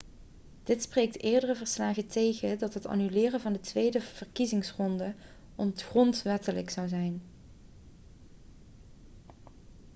dit spreekt eerdere verslagen tegen dat het annuleren van de tweede verkiezingsronde ongrondwettelijk zou zijn